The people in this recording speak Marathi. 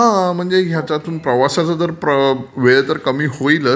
हा म्हणजे याच्यातून प्रवासाचा वेळ तर कमी होईलच.